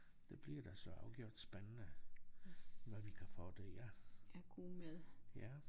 Det bliver da så afgjort spændende hvad vi kan få dér ja